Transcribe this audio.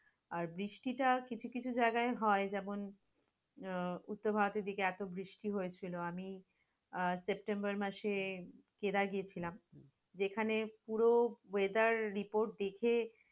আর বৃষ্টিটা কিছু কিছু জায়গায় হয় যেমন, আহ উত্তর ভারতের দিকে একক বৃষ্টি হয়েছিল আমি আহ september মাসে কেদার গিয়েছিলাম, যেখানে পুরো weather report দেখে